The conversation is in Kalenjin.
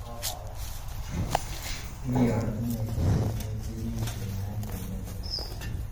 Mi ortinwek che terter cheimuch kenyae che miandos